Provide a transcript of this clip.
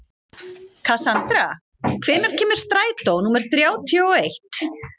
Kassandra, hvenær kemur strætó númer þrjátíu og eitt?